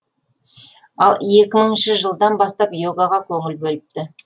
ал екі мыңыншы жылдан бастап йогаға көңіл бөліпті